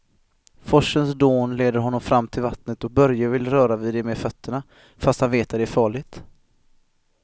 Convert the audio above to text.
Forsens dån leder honom fram till vattnet och Börje vill röra vid det med fötterna, fast han vet att det är farligt.